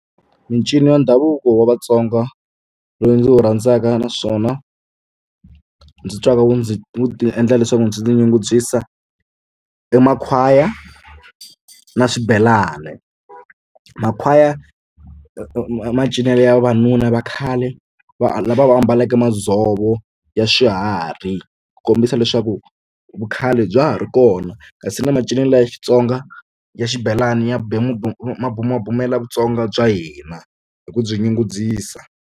Mincino ya ndhavuko wa Vatsonga lowu ndzi wu rhandzaka naswona ndzi twaka wu ndzi wu ta endla leswaku ndzi ti nyungubyisa i makhwaya na swibelani makhwaya macinelo ya vavanuna vakhale va lava va ambaleke madzovo ya swiharhi ku kombisa leswaku vukhale bya ha ri kona kasi na macinelo ya Xitsonga ya xibelani ya ya bumabumela Vutsonga bya hina hi ku byi nyungubyisa.